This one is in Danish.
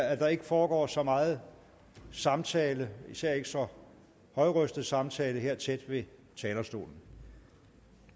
at der ikke foregår så meget samtale især ikke så højrøstet samtale her tæt ved talerstolen